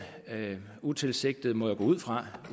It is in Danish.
utilsigtede må jeg gå ud fra